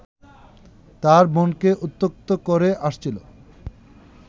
তার বোনকে উত্ত্যক্ত করে আসছিল